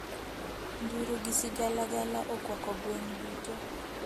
Nduru gi sigalagala okwako gweng` duto.